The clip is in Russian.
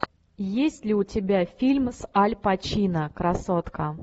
есть ли у тебя фильм с аль пачино красотка